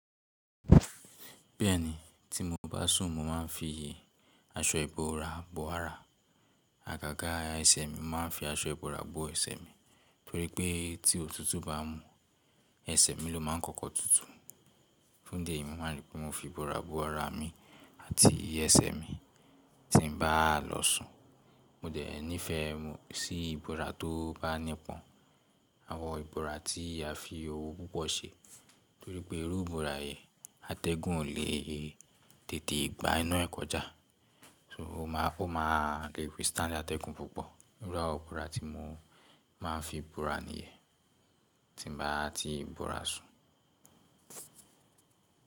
Bẹ́ẹ̀ni, tí mo bá sùn mo máa ń fi iyè aṣọ ìbora bò ara. Àgágá ẹsẹ̀ mi, mo máa ń fi aṣọ ìbora bò ẹsẹ̀ mi torí pé tí òtútù bá mú, ẹsẹ̀ mi ló máa ń kọ́kọ́ tutù. Fún ìdí èyí, mo máa rí pé mo fi ìbora bo ara mi àti ẹsẹ̀ mi tí n bá lọ sùn. Mo dẹ̀ nífẹ̀ẹ́ sí ìbora tó bá nípọn, àwọn ìbora tí a fi owu púpọ̀ ṣe torí pé irú ìbora yẹn atẹ́gùn ò le tètè gba inú ẹ kọjá. So mo máa fún o, mo máa rí pé Stanley atẹ́gùn púpọ̀. Irú àwọn ìbora tí mo máa ń fi bora ni iyẹn tí n bá tí ìbora sùn.